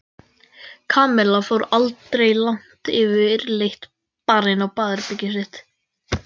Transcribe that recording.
Kamilla fór aldrei langt yfirleitt bara inn í herbergið sitt.